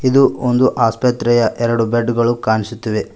ಇದು ಒಂದು ಆಸ್ಪತ್ರೆಯ ಎರಡು ಬೆಡ್ ಗಳು ಕಾಣಿಸುತ್ತಿವೆ.